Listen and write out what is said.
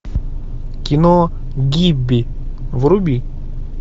кино гибби вруби